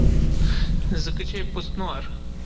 закачай пост нуар